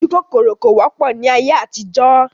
Ojúkòkòrò kò wọ́pọ̀ ni ayé àtijọ́